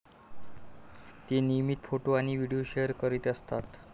ते नियमित फोटो आणि व्हिडीओ शेअर करीत असतात.